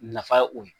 Nafa ye o ye